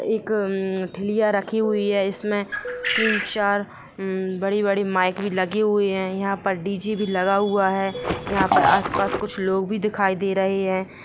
एक ठिलिया रखी हुई है इसमें तीन चार बड़ी बड़ी माइक भी लगे हुए है यहाँ पर डी.जे. भी लगा हुआ है यहाँ पर आसपास कुछ लोग भी दिखाई दे रहे है।